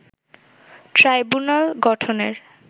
tribunal গঠনের